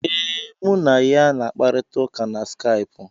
Ee, mụ na ya na-akparịta ụka na skaipụ.